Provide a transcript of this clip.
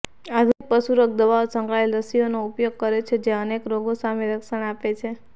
આધુનિક પશુરોગ દવાઓ સંકળાયેલ રસીઓનો ઉપયોગ કરે છે જે અનેક રોગો સામે રક્ષણ આપે છે